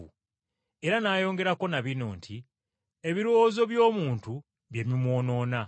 Era n’ayongerako na bino nti, “Ebirowoozo by’omuntu bye bimwonoona.